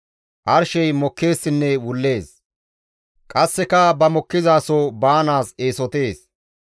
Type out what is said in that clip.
Arshey mokkeessinne wullees; qasseka ba mokkizaso baanaas eesotees.